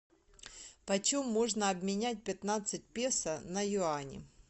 почем можно обменять пятнадцать песо на юани